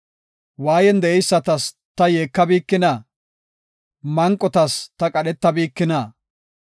waayen de7eysatas ta yeekabikina? manqotas ta qadhetabikina?